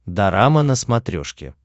дорама на смотрешке